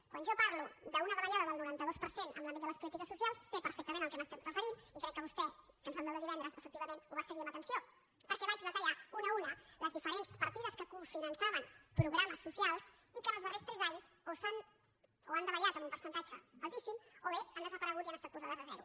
quan jo parlo d’una davallada del noranta dos per cent en l’àmbit de les polítiques socials sé perfectament a què m’estic referint i crec que vostè que ens vam veure divendres efectivament ho va seguir amb atenció perquè vaig detallar una a una les diferents partides que cofinançaven programes socials i que en els darrers tres anys o han davallat en un percentatge altíssim o bé han desaparegut i han estat posades a zero